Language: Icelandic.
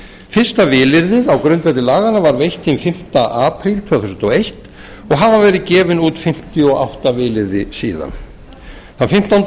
fyrsta vilyrðið á grundvelli laganna var veitt hinn fimmti apríl tvö þúsund og eins og hafa verið gefin út fimmtíu og átta vilyrði síðan þann fimmtánda